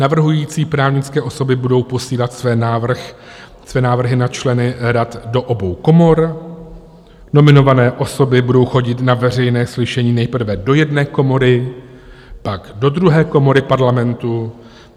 Navrhující právnické osoby budou posílat své návrhy na členy rad do obou komor, nominované osoby budou chodit na veřejné slyšení nejprve do jedné komory, pak do druhé komory Parlamentu.